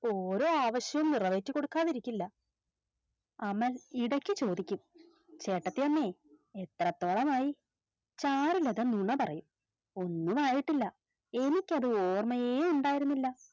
ഓരോ ആവശ്യവും നിറവേറ്റിക്കൊടുക്കാതിരിക്കില്ല അമൽ ഇടക്ക് ചോദിക്കും ചേട്ടത്തിയമ്മേ എത്രത്തോളമായി ചാരുലത നുണപറയും ഒന്നും ആയിട്ടില്ല എനിക്കത് ഓർമ്മയെ ഉണ്ടായിരുന്നില്ല